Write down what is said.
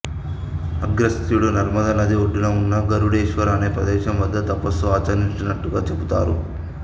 అగస్త్యుడు నర్మదా నది ఒడ్డున ఉన్న గరుడేశ్వర అనే ప్రదేశం వద్ద తపస్సు ఆచరించినట్లుగా చెబుతారు